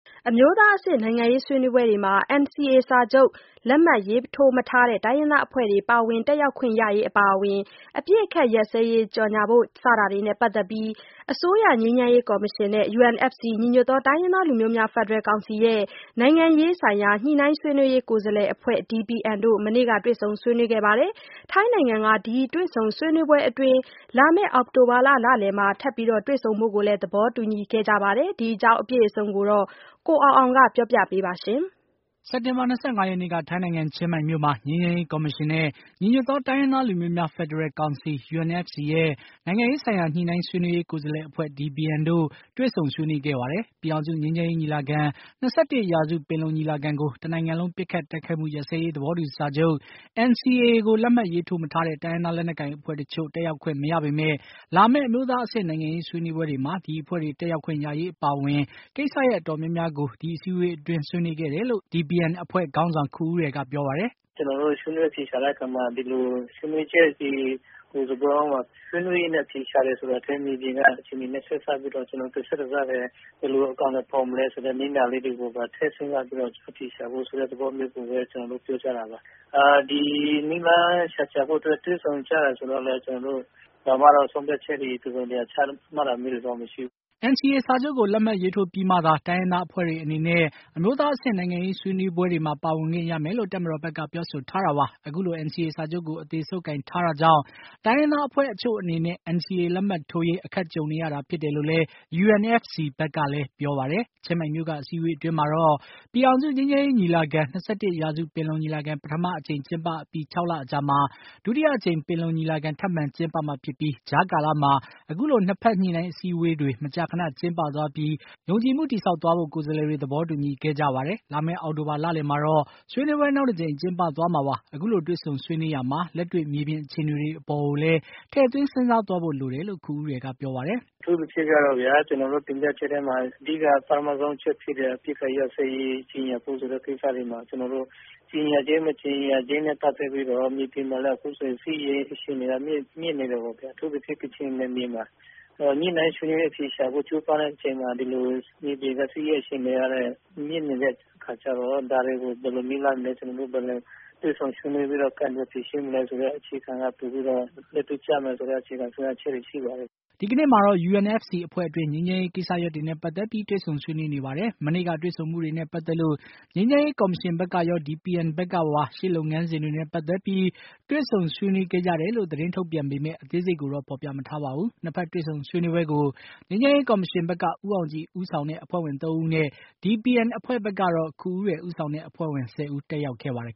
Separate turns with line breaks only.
အမျိုးသားအဆင့် နိုင်ငံရေးဆွေးနွေးပွဲတွေမှာ NCA စာချုပ်လက်မှတ်ရေးထိုးမထားတဲ့ တိုင်းရင်းသားအဖွဲ့တွေ ပါဝင်တက်ရောက်ခွင့်ရရေး အပါအဝင် အပစ်အခတ်ရပ်စဲရေး ကြေညာဖို့စတာတွေနဲ့ ပတ်သက်ပြီး အစိုးရ ငြိမ်းချမ်းရေးကော်မရှင်နဲ့ UNFC နိုင်ငံရေးဆိုင်ရာ ညှိနှိုင်းဆွေးနွေးရေးကိုယ်စားလှယ်အဖွဲ့ DPN တို့ မနေ့က တွေ့ဆုံဆွေးနွေးခဲ့ပါတယ်။ ထိုင်းနိုင်ငံက ဒီတွေ့ဆုံဆွေးနွေးပွဲအတွင်း လာမယ့် အောက်တိုဘာလလယ်မှာ ထပ်တွေ့ဆုံဖို့ သဘောတူခဲ့ကြပါတယ်။ ဒီအကြောင်း အပြည့်အစုံကို ကိုအောင်အောင်က တင်ပြပေးပါမယ်။
စက်တင်ဘာ ၂၅ ရက်နေ့က ထိုင်းနိုင်ငံ ၊ ချင်းမိုင်မြို့မှာ ငြိမ်းချမ်းရေး ကော်မရှင်နဲ့ ညီညွတ်သောတိုင်းရင်းသားလူမျိုးများ ဖက်ဒရယ်ကောင်စီ UNFC ရဲ့ နိုင်ငံရေးဆိုင်ရာ ညှိနှိုင်းဆွေးနွေးရေး ကိုယ်လှယ်အဖွဲ့ DPN အဖွဲ့တို့ တွေ့ဆုံဆွေးနွေးခဲ့ပါတယ်။ ပြည်ထောင်စု ငြိမ်းချမ်းရေးညီလာခံ ၂၁ ရာစု ပင်လုံညီလာခံကို တနိုင်ငံလုံးပစ်ခတ်တိုက် ခိုက်မှုရပ်စဲရေးသဘောတူစာချုပ် NCA ကို လက်မှတ်ရေးထိုးမထားတဲ့ တိုင်းရင်းသား လက်နက်ကိုင်အဖွဲ့တချို့ တက်ရောက်ခွင့်မရပေမယ့်၊ လာမယ့် အမျိုးသားအဆင့် နိုင်ငံရေးဆွေးနွေးပွဲတွေမှာ ဒီအဖွဲ့တွေ တက်ရောက်ခွင့်ရရေးအပါအဝင် ကိစ္စရပ်အတော်များများကို ဒီအစည်းအဝေးအတွင်း ဆွေးနွေးခဲ့တယ်လို့ DPN အဖွဲ့ခေါင်းဆောင် ခူဦးရယ်က ပြောပါတယ်။
“ကျနော်တို့ ဆွေးနွေးအဖြေရှာတဲ့အခါမှာ ဒီလိုဆွေးနွေးချက်တွေကို ဆွေးနွေးရင်းနဲ့ အဖြေရှာတယ်ဆိုတာထက် တကယ့်မြေပြင်ကအခြေအနေတွေနဲ့ ဆက်စပ်ပြီးတော့ ဘယ်လိုအကောင်အထည်ဖော်မလဲဆိုတာတွေကို နည်းနာလေးတွေကို ထည့်စဉ်းစားပြီးတော့ အဖြေရှာဖို့ ဆိုတဲ့သဘောမျိုးကျနော်တို့ပြောကြတာပါ။ ဒီနည်းလမ်းရှာဖို့အတွက်တွေ့ဆုံကြတာဆိုတော့ ဘာမှ ကျနော်တို့ ဆုံးဖြတ်ချက်တစုံတရာချတာမျိုးတွေတော့ မရှိဘူး။
" NCA စာချုပ်ကို လက်မှတ်ရေးထိုးပြီးမှသာ တိုင်းရင်းသားအဖွဲ့တွေအနေနဲ့ အမျိုးသားအဆင့် နိုင်ငံရေးဆွေးနွေးပွဲတွေမှာ ပါဝင်ခွင့်ရမယ်လို့ တပ်မတော်ဘက်က ပြောဆိုထားတာပါ။ အခုလို NCA စာချုပ်ကို အသေဆုပ်ကိုင်ထားတာကြောင့် တိုင်းရင်းသားအဖွဲ့အချို့အနေနဲ့ NCA လက်မှတ်ထိုးရေး အခက်ကြုံနေရတာဖြစ်တယ်လို့လည်း UNFC ဘက်ကပြောပါတယ်။ ချင်းမိုင်မြု့ိက အစည်းအဝေးအတွင်းမှာတော့ ပြည်ထောင်စုငြိမ်းချမ်းရေးညီလာခံ ၂၁ ရာစုပင်လုံညီလာခံ ပထမအကြိမ်ကျင်းပအပြီး ၆ လအကြာမှာ ဒုတိယအကြိမ် ပင်လုံညီလာခံ ထပ်မံကျင်းပမှာဖြစ်ပြီး ကြားကာလမှာ အခုလို ညှိနှိုင်းအစည်းအဝေးတွေ မကြာခဏကျင်းပသွားပြီး ယုံကြည်မှုတည်ဆောက်သွားဖို့ ၂ ဘက်ကိုယ်စားလှယ်တွေ သဘောတူညီခဲ့ကြပါတယ်။ လာမယ့် အောက်တိုဘာလလယ်မှာတော့ ဆွေးနွေးပွဲ နောက်တကြိမ်ကျင်းပသွားမှာပါ။ အခုလို တွေ့ဆုံဆွေးနွေးရာမှာ လက်တွေ့မြေပြင်အခြေအနေတွေနဲ့လည်း ထည့်သွင်းစဉ်းစားသွားဖို့လိုတယ်လို့ ခူဦးရယ်ကပြောပါတယ်။
“အထူးသဖြင့်ကတော့ ကျနော်တို့တင်ပြချက်ထဲမှာ အဓိကပထမဆုံးအချက်ဖြစ်တဲ့ အပစ်အခတ်ရပ်စဲရေး ကြေညာဖို့ဆိုတဲ့ဟာမှာ ကြေညာခြင်း၊ မကြေညာခြင်း နဲ့ ပတ်သက်ပြီးတော့ မြေပြင်မှာလည်း အခုဆိုရင် စစ်ရေး အခြေအနေကမြင့်နေတယ်ပေါ့ဗျာ။ အထူးသဖြင့် ကချင်ပြည်နယ်မှာ ၊ အခုလို ညှိနှိုင်းဆွေးနွေးအဖြေရှာဖို့ ကြိုးပမ်းတဲ့အချိန်မှာ အခုလို မြေပြင်စစ်ရေးအခြေအနေကလည်း မြင့်နေတဲ့အတွက်ကြောင့် ဒါတွေကို ဘယ်လိုနည်းလမ်းနဲ့ ၊ တွေ့ဆုံဆွေးနွေးပြီးတော့ ကိုင်တွယ်ဖြေရှင်းမလဲဆိုတဲ့အခြေခံက ပိုပြီးတော့ လက်တွေ့ကျမယ်ဆိုတဲ့ အခြေခံဆုံးဖြတ်ချက်တွေရှိပါတယ်။
” ဒီကနေ့မှာတော့ UNFC အဖွဲ့အတွင်း ငြိမ်းချမ်းရေးကိစ္စရပ်တွေနဲ့ ပတ်သတ်ပြီး တွေ့ဆုံဆွေးနွေးနေပါတယ်။ မနေ့ကတွေ့ဆုံမှုနဲ့ ပတ်သက်လို့ ငြိမ်းချမ်းရေးကော်မရှင်ဘက်ကရော DPN ဘက်ကပါ ရှေ့လုပ်ငန်စဉ်းတွေနဲ့ ပတ်သက်ပြီး တွေ့ဆုံဆွေးနွေးခဲ့ကြတယ်လို့ သတင်းထုတ်ပြန်ပေမယ့် အသေးစိတ်ကိုတော့ ဖေါ်ပြမထားပါဘူး ။ ၂ ဖက်တွေ့ဆုံဆွေးနွေးပွဲကို ငြိမ်းချမ်းရေးကော်မရှင်ဘက်က ဦးအောင်ကြည် ဦးဆောင်တဲ့ အဖွဲ့ဝင် ၃ ဦးနဲ့ DPN အဖွဲ့ဘက်ကတော့ ခူဦးရယ်ဦးဆောင်တဲ့ အဖွဲ့ဝင် ၁၀ ဦး တက်ရောက်ခဲ့ပါတယ်